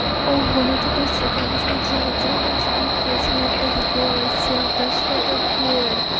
ага ну ты быстро конечно чай делаешь пипец у меня опять голос сел то что такое